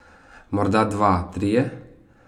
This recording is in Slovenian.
Morda dva, trije ...